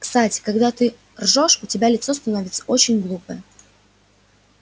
кстати когда ты ржёшь у тебя лицо становится очень глупое